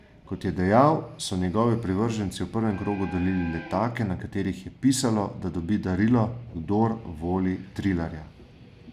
Kot je dejal, so njegovi privrženci v prvem krogu delili letake, na katerih je pisalo, da dobi darilo, kdor voli Trilarja.